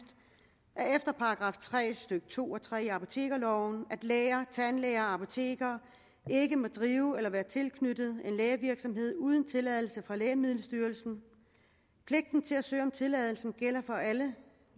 at efter § tre stykke to og tre i apotekerloven må læger tandlæger og apotekere ikke drive eller være tilknyttet en lægevirksomhed uden tilladelse fra lægemiddelstyrelsen pligten til at søge om tilladelse gælder for alle